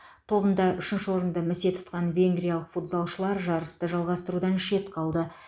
тобында үшінші орынды місе тұтқан венгриялық футзалшылар жарысты жалғастырудан шет қалды